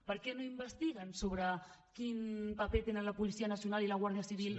per què no investiguen sobre quin paper tenen la policia nacional i la guàrdia civil